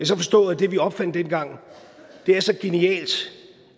så forstå at det vi opfandt dengang er så genialt